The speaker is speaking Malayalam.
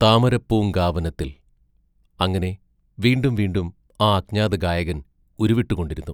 താമരപ്പൂങ്കാവനത്തിൽ അങ്ങനെ വീണ്ടും വീണ്ടും ആ അജ്ഞാതഗായകൻ ഉരുവിട്ടുകൊണ്ടിരുന്നു.